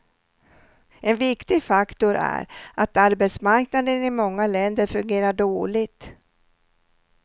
En viktig faktor är att arbetsmarknaden i många länder fungerar dåligt.